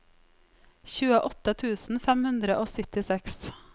tjueåtte tusen fem hundre og syttiseks